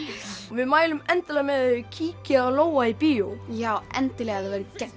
við mælum endilega með þið kíkið á Lóa í bíó já endilega það